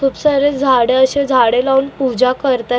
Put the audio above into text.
खूप सारे झाडं अशे झाडं लावून पूजा करत आहेत.